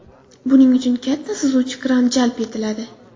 Buning uchun katta suzuvchi kran jalb etiladi.